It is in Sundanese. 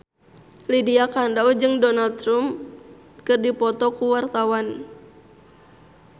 Lydia Kandou jeung Donald Trump keur dipoto ku wartawan